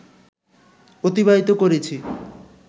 অতিবাহিত করেছি